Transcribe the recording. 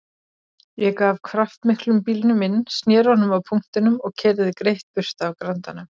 Ég gaf kraftmiklum bílnum inn, sneri honum á punktinum og keyrði greitt burt af Grandanum.